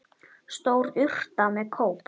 Stór urta með kóp.